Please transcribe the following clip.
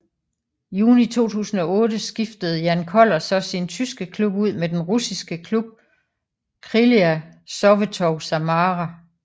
Juni 2008 skiftede Jan Koller så sin tyske klub ud med den russiske klub Krylya Sovetov Samara